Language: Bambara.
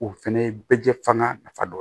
O fɛnɛ ye bɛɛ jɛ fanga nafa dɔ ye